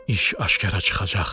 “İş aşkara çıxacaq.